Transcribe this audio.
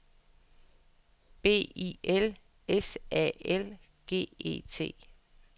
B I L S A L G E T